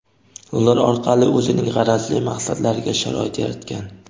ular orqali o‘zining g‘arazli maqsadlariga sharoit yaratgan.